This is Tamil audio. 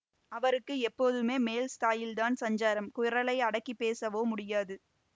அவருக்கு எப்போதுமே மேல் ஸ்தாயில்தான் சஞ்சாரம் குரலை அடக்கிப் பேசவோ முடியாது